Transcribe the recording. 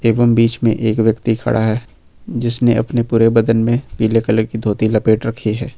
एवं बीच में एक व्यक्ति खड़ा है जिसने अपने पूरे बदन में पीले कलर की धोती लपेट रखी है।